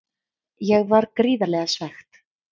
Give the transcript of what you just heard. Ég var gríðarlega svekkt.